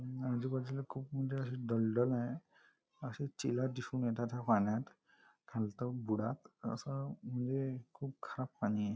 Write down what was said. आजू बाजूला खूप मोठं असं दलदल आहे अश्या चिला दिसून येतात ह्या पाण्यात खालतं बुडात अस म्हणजे खूप खराब पाणी आहे.